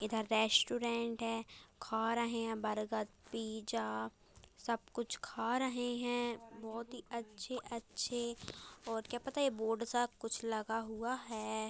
इधर रेस्टोरेंट है खा रहे हैं बर्गर पिज़्ज़ा सब कुछ खा रहे हैं बहुत ही अच्छे-अच्छे और क्या पता बोर्ड सा कुछ लगा हुआ है।